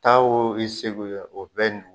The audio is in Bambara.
Tawow bi segu yan o bɛ nugu